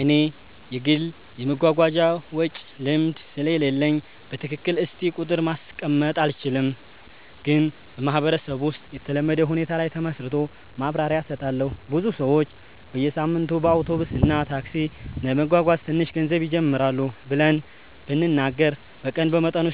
እኔ የግል የመጓጓዣ ወጪ ልምድ ስለሌለኝ በትክክል እስቲ ቁጥር ማስቀመጥ አልችልም፣ ግን በማህበረሰብ ውስጥ የተለመደ ሁኔታ ላይ ተመስርቶ ማብራሪያ እሰጣለሁ። ብዙ ሰዎች በየሳምንቱ በአውቶቡስ እና ታክሲ ለመጓጓዝ ትንሽ ገንዘብ ይጀምራሉ ብለን ብንናገር በቀን በመጠኑ